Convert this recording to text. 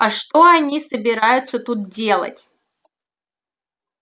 а что они собираются тут делать